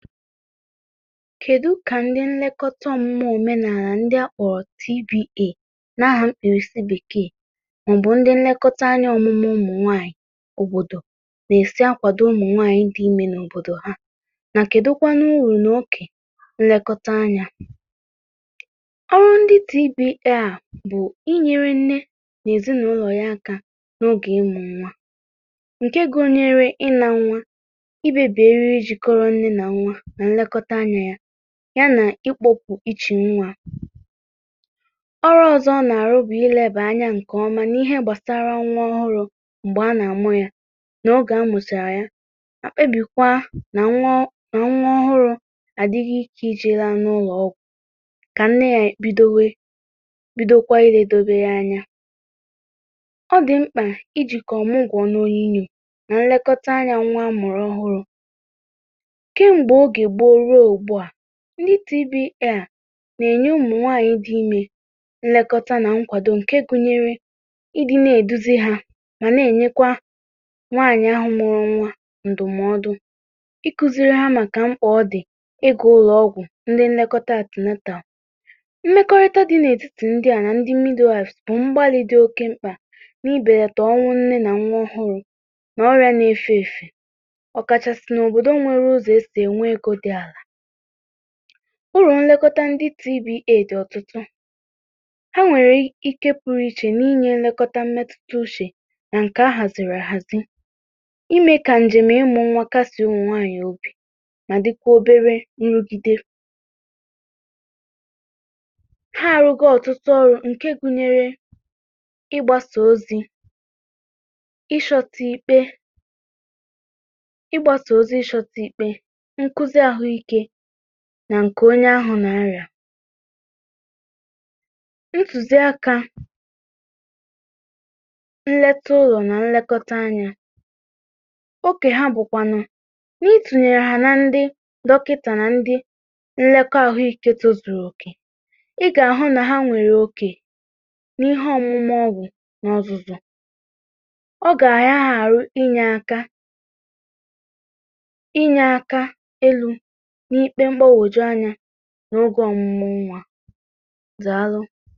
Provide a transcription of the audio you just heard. Kèdu kà ndị nlekọta ọmụmụ óménàlà ndị akpọrọ TBA na àhà Bekee, màọbụ̀ ndị nlekọta anya ọ̀mụmụ ụmụ̀ nwaanyị̀ òbòdò nà-èsi akwàdo ụmụ̀ nwaanyị̀ dị imė n’òbòdò ha, nà kèdu kwan n’urù n’okè nlekọta anya ọrụ ndị TBA a bụ̀ inyere nne na èzìnàụlọ̀ ya aka n’ogè ịmụ̇ nwa, ǹke gụnyere ịnȧ nwa, imebi eriri jikọrọ nne na nwa na nlekọta anya ya, ya nà ikpọ̀pụ̀ ichè nwȧ ọrụ ọ̀zọ ọ nà-àrụ bụ̀ ilėbè anya ǹkèọma nà ihe gbàsara nwa ọhụrụ̇ m̀gbè a nà-àmụ ya n’ogè amusìrì ya mà kpebìkwaa nà nwa ọhụrụ̇ à dịghị ike iji̇ la n’ụlọ̀ ọgwụ̀ kà nne ya bidowe bidokwa ilėdobe ya anya, ọ dị̀ mkpà ijì kà ọ̀mụgwọ̀ n’ònyinyò nà nlekọta anyȧ nwa mụ̀rụ ọhụrụ̇ ke mgbe oge gboo ruo ugbua, ndị TBA na-enye ụmụnwaanyị dị imė nlekọta na nkwado nke gụnyere, ịdị na-eduzi ha ma na-enyekwa nwaanyị ahụ mụrụ nwa ndụmọdụ, ikuziri ha maka mkpà ọ dị iga ụlọọgwụ ndị nlekọta antenatal, mmekọrịta dị n’etiti ndị a na ndị bụ mgbalị dị oke mkpa n’ibelata ọnwụ nne na nwa ọhụrụ, na ọrịa na-efe efe okachasi na obodo nwere ùsọ esi enwe ego dị ala ụrụ̀ nlekọta ndị TBA dị̀ ọtụtụ, ha nwèrè ike pụrụ ichè n’inye elekọta mmetụta uche nà ǹkè ahàziri àhàzi, ime kà ǹjèm ịmụ̇ nwa kàsị̀e ụmụ̀ nwaanyị̀ obì, mà dịkwà obere nrụgide ha arụgo ọtụtụ ọrụ̇ ǹke gụ̇nyere, ịgbasa ozi̇ ikpe, nkuzi ahụike nà ǹkè onye ahụ̀ nà arị̀à. ntùzi akȧ n’ lete ụlọ̀ nà nlekọta anyȧ, oke ha bụ̀kwànụ̀ n’itùnyèrè hà na ndị dọkìtà nà ndị nlekọ àhụ ikė tozùrù òkè, ị gà-àhụ nà ha nwèrè okè n’ihe ọ̀mụmụ ọgwụ nà ọ̀zụ̀zụ̀, ọ gà-àyagha àrụ inyė aka, inye aka elu n’ikpe mgbagwoju anya n’ugwọ ọmụmụ nwa. Dàlu.